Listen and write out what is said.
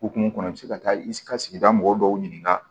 Hokumu kɔnɔ i bi se ka taa i ka sigida mɔgɔ dɔw ɲininka